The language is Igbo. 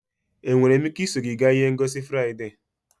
Enwere m ike iso gị gaa ihe ngosi Fraịde?